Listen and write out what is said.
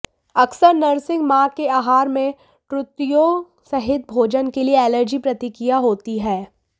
अक्सर नर्सिंग मां के आहार में त्रुटियों सहित भोजन के लिए एलर्जी प्रतिक्रिया होती है